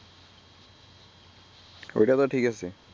অইটা তো ঠিকাছে